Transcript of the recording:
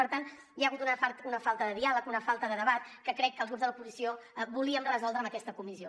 per tant hi ha hagut una falta de diàleg una falta de debat que crec que els grups de l’oposició volíem resoldre amb aquesta comissió